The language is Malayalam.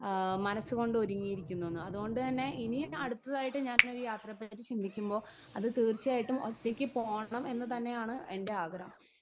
സ്പീക്കർ 1 ആ മനസ്സുകൊണ്ട് ഒരുങ്ങിയിരിക്കുന്നുന്ന്. അതുകൊണ്ട് തന്നെ ഇനിയും അടുത്തതായിട്ട് ഞാൻ ഒരു യാത്രയെ പറ്റി ചിന്തിക്കുമ്പോ അത് തീർച്ചയായും ഒറ്റയ്ക്ക് പോണം എന്ന് തന്നെയാണ് എൻ്റെ ആഗ്രഹം.